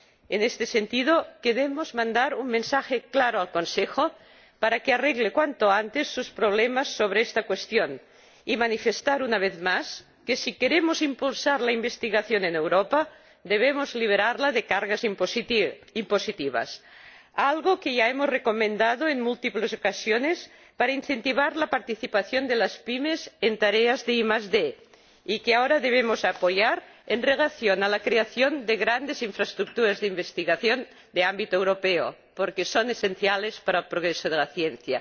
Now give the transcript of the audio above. En este sentido, queremos mandar un mensaje claro al Consejo para que arregle cuanto antes sus problemas sobre esta cuestión y manifestar una vez más que si queremos impulsar la investigación en Europa debemos liberarla de cargas impositivas, algo que ya hemos recomendado en muchas ocasiones para incentivar la participación de las PYME en tareas de ID y que ahora debemos apoyar en relación con la creación de grandes infraestructuras de investigación de ámbito europeo, porque son esenciales para el progreso de la ciencia.